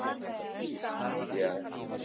Eða gat ég það?